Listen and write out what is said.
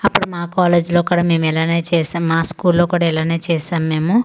అప్పుడు మా కాలేజీ లో కూడా మేము ఇలానే చేసాం మా స్కూల్ లో కూడా ఇలానే చేసాం మేము.